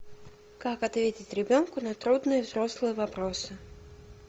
как ответить ребенку на трудные взрослые вопросы